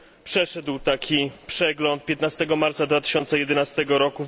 Przeszedł taki przegląd 15 marca 2011 r.